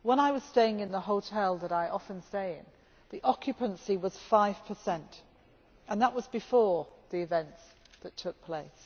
When I was staying in the hotel that I often stay in, the occupancy was five per cent, and that was before the events that took place.